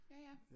Jaja